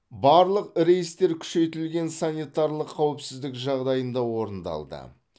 барлық рейстер күшейтілген санитарлық қауіпсіздік жағдайында орындалды